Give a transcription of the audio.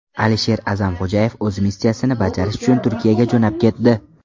Alisher A’zamxo‘jayev o‘z missiyasini bajarish uchun Turkiyaga jo‘nab ketdi.